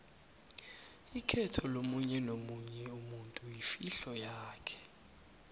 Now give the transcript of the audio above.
ikhetho lomunyenomunye umutu yifihlo yakhe